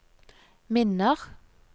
minner